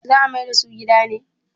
za a maida su gida ne?